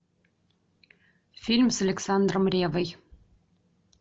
фильм с александром реввой